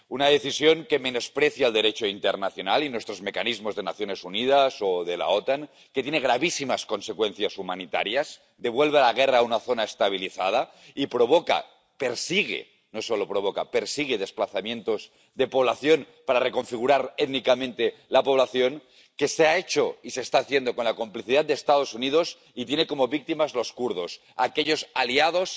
una decisión que menosprecia el Derecho internacional y nuestros mecanismos de las Naciones Unidas o de la OTAN, que tiene gravísimas consecuencias humanitarias, que devuelve a la guerra a una zona estabilizada, y que provoca, o persigue —no solo provoca— desplazamientos de población para reconfigurar étnicamente la población, que se ha hecho y se está haciendo con la complicidad de los Estados Unidos y tiene como víctimas a los kurdos, aquellos aliados